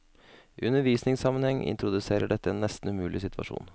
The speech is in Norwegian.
I undervisningssammenheng introduserer dette en nesten umulig situasjon.